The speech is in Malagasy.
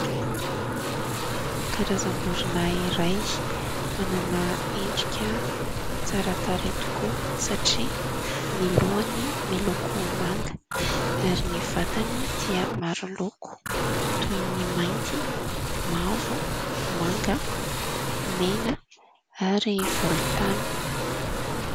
Karazam-borona iray manana endrika tsara tarehy tokoa satria ny lohany miloko manga ary ny vatany dia maro loko toy ny mainty, mavo, manga ,mena ary volontany.